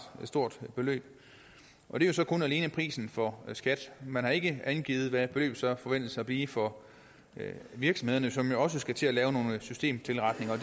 stort beløb det er så kun alene prisen for skat man har ikke angivet hvad beløbet så forventes at blive for virksomhederne som jo også skal til at lave nogle systemtilretninger og